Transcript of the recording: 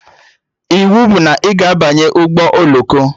Iwu bụ na ị ga-abanye ụgbọ oloko!